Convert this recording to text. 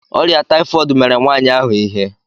Ọrịa taịfọd mere nwaanyị ahụ ihe.